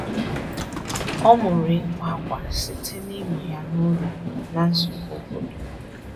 Ọ mụrụ ịkwa akwa site na ịmụ ya na ụlọ na nzukọ obodo